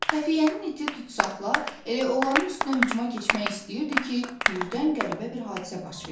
Xəfiyyənin iti Tutsaxla elə onların üstünə hücuma keçmək istəyirdi ki, birdən qəribə bir hadisə baş verdi.